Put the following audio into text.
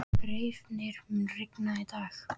Reifnir, mun rigna í dag?